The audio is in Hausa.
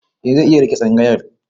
Eh zai iya riƙe tsangayar.